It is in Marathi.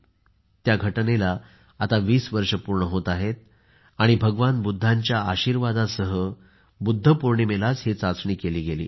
त्या घटनेला 20 वर्ष पूर्ण होत आहेत आणि भगवान बुद्धांच्या आशीर्वादांसह बुद्ध पौर्णिमेला ही चाचणी केली गेली